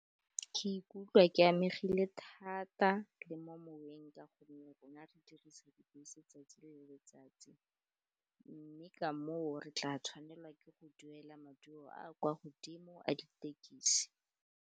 Ke ikutlwa ke amegile thata le mo moweng ka gonne rona re dirisa dibese 'tsatsi le letsatsi, mme ka moo re tla tshwanela ke go duela maduo a kwa godimo a ditekisi.